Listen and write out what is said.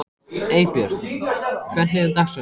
Eybjört, hvernig er dagskráin?